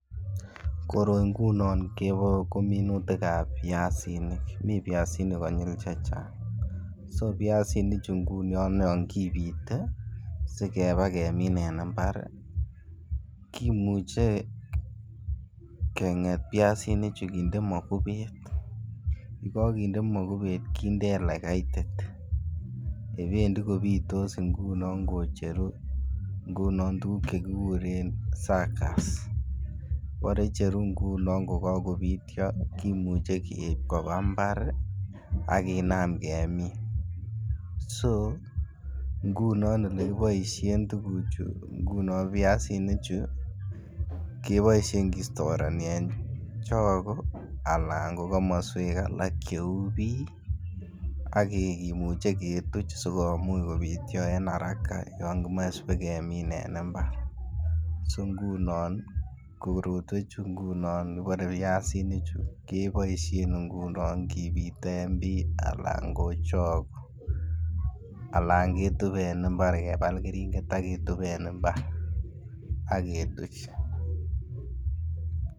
Koroi ngunon ko minutikab byasinik, mii byasinik konyil chechang so byasini chu ngunon yon kipite si bakemin en imbar ii kimuche kenget byasini chu kinde mokubet ye kokinde mokubet kinde ele kaitit yebendii kopitos ngunon kocheruu ngunon tuguk che kiguren sakas mbore icheru ngunon ko kogobityo kimuche keib kobwaa mbar ii ak kinam kemin, so ngunon ole kiboishen tuguchu ngunon byasinichu keboishen kistorenii en chogo alan ko komoswek alak che uu bii ak kimuche ketuch sikomuch kobityo en haraka yon kimoche sibakemin en imbar. So ngunon koretwochu ngunon kibire byasinik keboishen ngunon kipiten bii alan ko chogo alan ketup en imbar kebal keringet ak ketup en imbar ak ketuch